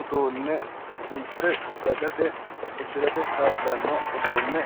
uduunne sunte dagate uddirate kaa'lanno uduunne